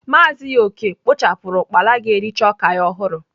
Maazị Okey kpochapuru ukpala ga-ericha oka ya ohuru.